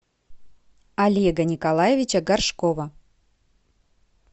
олега николаевича горшкова